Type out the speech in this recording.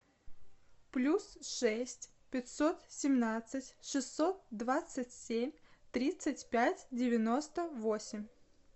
плюс шесть пятьсот семнадцать шестьсот двадцать семь тридцать пять девяносто восемь